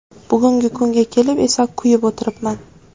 Bugungi kunga kelib esa kuyib o‘tiribman.